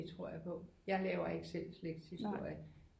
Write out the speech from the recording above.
Det tror jeg på jeg laver ikke selv slægtshistorie